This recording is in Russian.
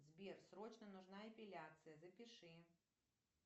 сбер срочно нужна эпиляция запиши